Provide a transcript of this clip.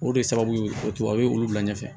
O de ye sababu ye o ye olu bila ɲɛfɛ